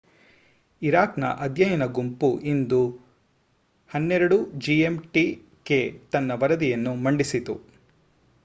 Iraq ನ ಅಧ್ಯಾಯನ ಗುಂಪು ಇಂದು 12.00 gmt ಕ್ಕೆ ತನ್ನ ವರದಿಯನ್ನು ಮಂಡಿಸಿತು